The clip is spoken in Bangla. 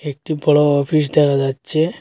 একটি বড় অফিস দেখা যাচ্ছে।